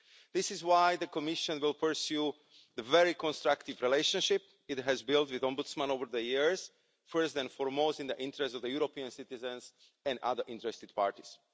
This is why the Commission will pursue the very constructive relationship it has built with the Ombudsman over the years, first and foremost in the interest of the European citizens and other interested parties.